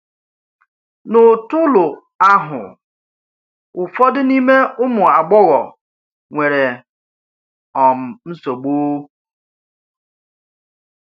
N’ụ̀tụ́lù ahụ, ụfọdụ n’ime ụmụ agbọghọ̀ nwere um nsogbu.